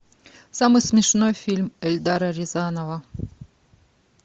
самый смешной фильм эльдара рязанова